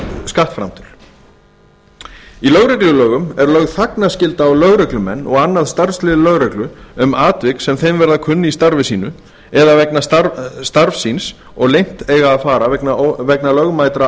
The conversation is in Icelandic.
skattframtöl í lögreglulögum er lögð þagnarskylda á lögreglumenn og annað starfslið lögreglu um atvik sem þeim verða kunn í starfi sínu eða vegna starfs síns og leynt eiga að fara vegna lögmætra